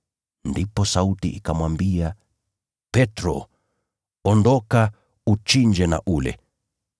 Ndipo sauti ikamwambia “Petro, ondoka, uchinje na ule.”